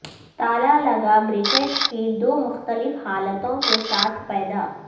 تالا لگا بریکٹ کی دو مختلف حالتوں کے ساتھ پیدا